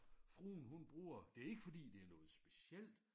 Fruen hun bruger det ikke fordi det noget specielt